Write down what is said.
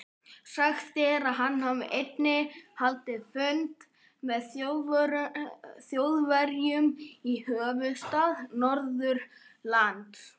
Sagt er, að hann hafi einnig haldið fund með Þjóðverjum í höfuðstað Norðurlands.